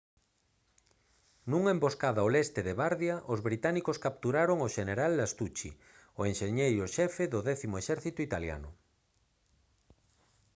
nunha emboscada ao leste de bardia os británicos capturaron ao xeneral lastucci o enxeñeiro xefe do décimo exército italiano